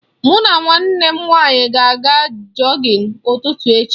Mụ na nwanne m nwaanyị ga aga jọgịn ụtụtụ echi.